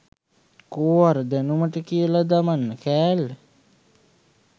කෝ අර දැනුමට කියලා දමන කෑල්ල